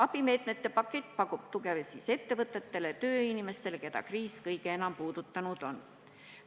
Abimeetmete pakett pakub tuge ettevõtetele ja tööinimestele, keda kriis kõige enam puudutanud on.